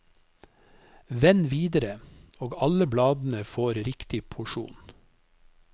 Vend videre, og alle bladene får riktig porsjon.